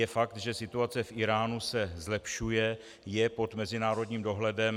Je fakt, že situace v Íránu se zlepšuje, je pod mezinárodním dohledem.